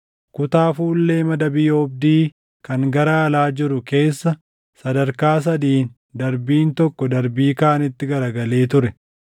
Kutaa oobdii isa gara keessaa kan dhundhuma digdamaa keessaa fi kutaa fuullee madabii oobdii kan gara alaa jiru keessa sadarkaa sadiin darbiin tokko darbii kaanitti garagalee ture.